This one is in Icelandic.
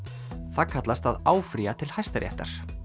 það kallast að áfrýja til Hæstaréttar